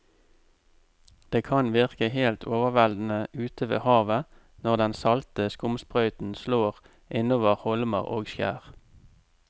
Det kan virke helt overveldende ute ved havet når den salte skumsprøyten slår innover holmer og skjær.